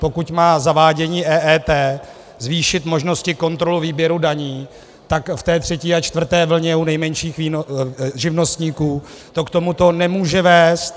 Pokud má zavádění EET zvýšit možnosti kontroly výběru daní, tak v té třetí a čtvrté vlně u nejmenších živnostníků to k tomu nemůže vést.